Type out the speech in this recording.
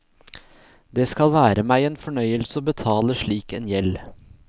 Det skal være meg en fornøyelse å betale slik en gjeld.